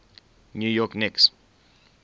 new york knicks